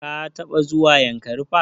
Ka taɓa zuwa yankari park?